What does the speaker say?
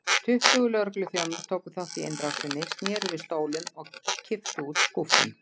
Tuttugu lögregluþjónar tóku þátt í innrásinni, sneru við stólum og kipptu út skúffum.